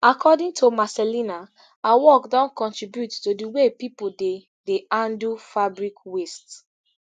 according to marcellina her work don contribute to di way pipo dey dey handle fabric waste